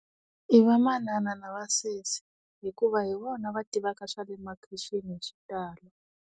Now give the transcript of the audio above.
I vamanana na vasesi hikuva hi vona va tivaka swale makhixini hi xitalo.